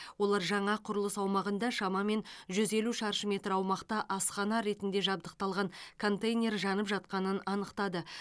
олар жаңа құрылыс аумағында шамамен жүз елу шаршы метр аумақта асхана ретінде жабдықталған контейнер жанып жатқанын анықтады